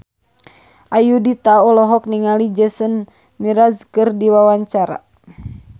Ayudhita olohok ningali Jason Mraz keur diwawancara